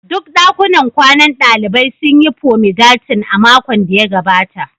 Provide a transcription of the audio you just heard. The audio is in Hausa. Duk dakunan kwanan dalibai sun yi fomigatin a makon da ya gabata